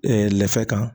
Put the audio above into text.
lɛfɛ kan